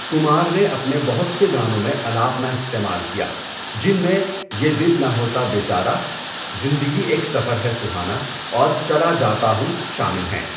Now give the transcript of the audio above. کمار نے اپنے بہت سے گانوں میں الاپنا استعمال کیا، جن میں یہ دل نہ ہوتا بیچارا، زندگی ایک سفر ہے سُہانا، اور چلا جاتا ہوں شامل ہیں۔